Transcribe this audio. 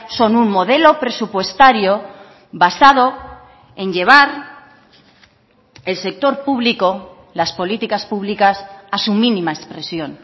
son un modelo presupuestario basado en llevar el sector público las políticas públicas a su mínima expresión